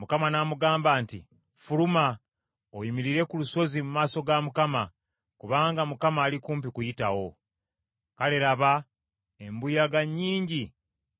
Mukama n’amugamba nti, “Ffuluma, oyimirire ku lusozi mu maaso ga Mukama , kubanga Mukama ali kumpi kuyitawo.” Kale laba, embuyaga nnyingi